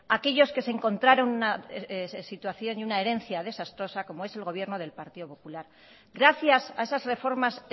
aquellos que se encontraron una situación y una herencia desastrosa como es el gobierno del partido popular gracias a esas reformas